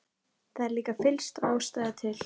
Það er líka fyllsta ástæða til.